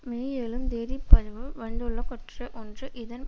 மேஏழும் தேதிப் பதிப்வு வந்துள்ள கட்டுரை ஒன்று இதன்